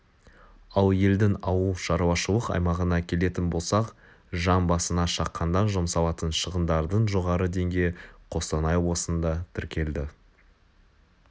ал елдің ауылшарушылық аймағына келетін болсақ жан басына шаққанда жұмсалатын шығындардың жоғары деңгейі қостанай облысында тіркелді